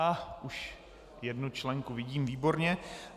Á, už jednu členku vidím, výborně.